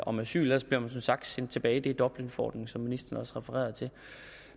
om asyl ellers bliver man som sagt sendt tilbage det er dublinforordningen som ministeren også refererede til